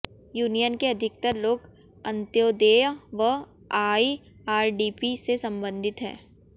union के अधिकतर लोग अंत्योदेय व आईआरडीपी से संबंधित हैं